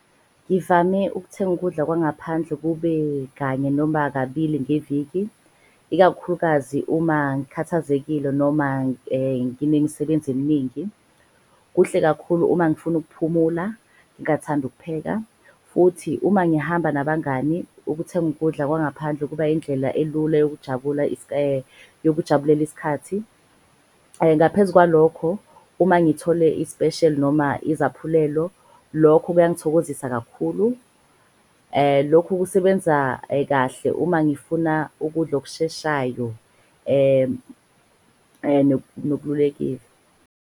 Ngivame ukuthenga ukudla kwangaphandle kube kanye noma kabili ngeviki, ikakhulukazi uma ngikhathazekile noma nginemsebenzi eminingi. Kuhle kakhulu uma ngifuna ukuphumula, ngingathandi ukupheka. Futhi uma ngihamba nabangani ukuthenga ukudla kwangaphandle ukuba indlela elula yokujabula yokujabulela iskhathi. Ngaphezu kwalokho, uma ngithole isipesheli noma izaphulelo lokho kuyangithokozisa kakhulu. Lokhu kusebenza kahle uma ngifuna ukudla okusheshayo .